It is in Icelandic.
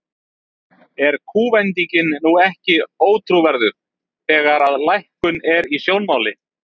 Er kúvendingin nú ekki ótrúverðug, þegar að lækkun er í sjónmáli?